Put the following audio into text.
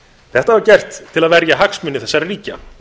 þetta var gert til að verja hagsmuni þessara ríkja